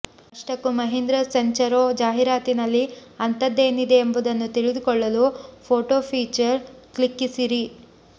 ಅಷ್ಟಕ್ಕೂ ಮಹೀಂದ್ರ ಸೆಂಚರೊ ಜಾಹೀರಾತಿನಲ್ಲಿ ಅಂತದ್ದೇನಿದೆ ಎಂಬುದನ್ನು ತಿಳಿದುಕೊಳ್ಳಲು ಫೋಟೊ ಫೀಚರ್ ಕ್ಲಿಕ್ಕಿಸಿರಿ